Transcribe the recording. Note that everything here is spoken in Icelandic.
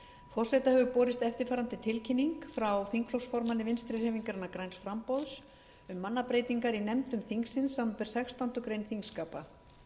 forseta hefur borist eftirfarandi tilkynning frá þingflokksformanni vinstri hreyfingarinnar græns framboðs um mannabreytingar í nefndum þingsins samanber sextándu grein þingskapa